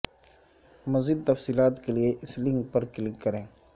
مزید تفصیلات کے لیے اس لنک پر کلک کریں